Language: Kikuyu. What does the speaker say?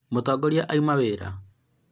mũtongoria auma wĩra